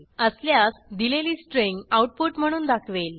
असल्यास दिलेली string output म्हणून दाखवेल